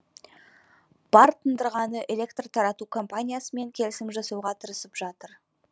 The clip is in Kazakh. бар тындырғаны электр тарату компаниясымен келісім жасауға тырысып жатыр